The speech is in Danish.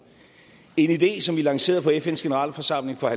en idé som vi lancerede på fns generalforsamling for